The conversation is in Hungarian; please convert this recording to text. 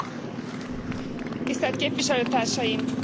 Tisztelt képviselőtársaim, tisztelt elnök urak!